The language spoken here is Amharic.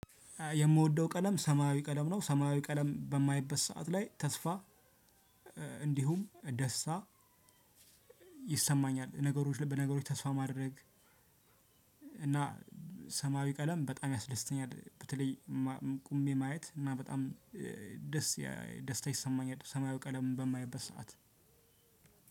የምወደው ቀለም ሰማያዊ ቀለም ነው ሰማያዊ ቀለም በማይበት ሰዓት ላይ ተስፋ እንዲሁም ደስታ ይሰማኛል። ነገሮች ላይ በነገሮች ተስፋ ማድረግ እና ሰማያዊ ቀለም በጣም ያስደስተኛል። በተለይ ቁሜ ማየት እና በጣም ደስ ደስታ ይሰማኛል። ሰማያዊ ቀለም በማይበት ሰዓት።